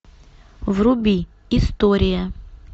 вруби история